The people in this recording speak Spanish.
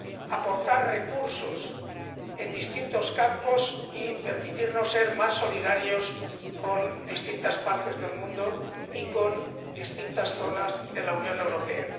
aportar recursos en distintos campos y permitirnos ser más solidarios con distintas partes del mundo y con distintas zonas de la Unión Europea.